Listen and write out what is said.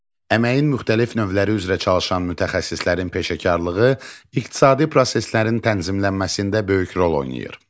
Əməyin müxtəlif növləri üzrə çalışan mütəxəssislərin peşəkarlığı iqtisadi proseslərin tənzimlənməsində böyük rol oynayır.